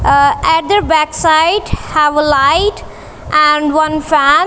ah other backside have a light an one fan.